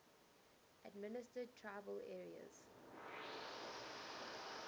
administered tribal areas